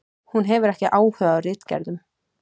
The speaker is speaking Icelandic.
Hún hefur ekki áhuga á ritgerðum.